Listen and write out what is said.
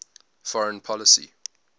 foreign policy